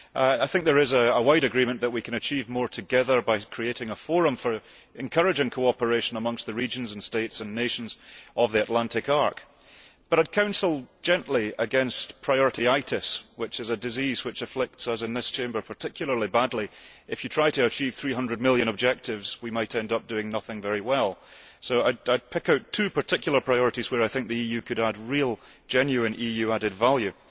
I think there is a wide agreement that we can achieve more together by creating a forum for encouraging cooperation amongst the regions and states and nations of the Atlantic Arc, but I would counsel gently against priorityitis', which is a disease that afflicts us in this Chamber particularly badly. If you try to achieve 300 million objectives, we might end up doing nothing very well, so I would pick out two particular priorities where I think the EU could add real, genuine, EU added value.